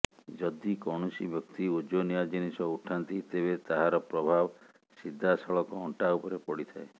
ଯଦି କୌଣସି ବ୍ୟକ୍ତି ଓଜନିଆ ଜିନିଷ ଉଠାନ୍ତି ତେବେ ତାହାର ପ୍ରଭାବ ସିଧାସଳଖ ଅଣ୍ଟା ଉପରେ ପଡିଥାଏ